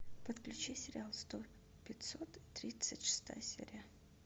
подключи сериал сто пятьсот тридцать шестая серия